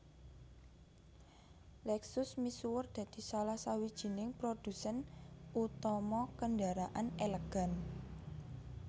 Lexus misuwur dadi salah sawijining prodhusèn utama kendaraan elegan